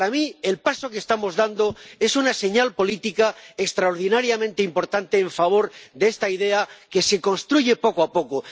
Para mí, el paso que estamos dando es una señal política extraordinariamente importante en favor de esta idea que se construye poco a poco.